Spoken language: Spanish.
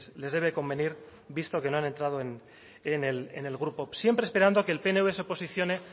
les debe convenir visto que no han entrado en el grupo siempre esperando a que el pnv se posicione